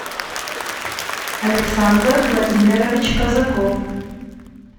александр владимирович казаков